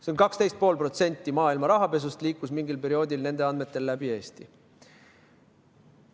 Seega 12,5% maailma rahapesust liikus mingil perioodil nende andmetel läbi Eesti.